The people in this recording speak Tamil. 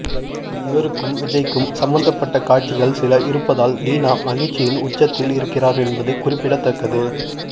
இவருக்கும் விஜய்க்கும் சம்பந்தப்பட்ட காட்சிகள் சில இருப்பதால் தீனா மகிழ்ச்சியின் உச்சத்தில் இருக்கிறார் என்பது குறிப்பிடத்தக்கது